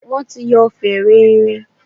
Wọ́n ti yọ fèrè erin.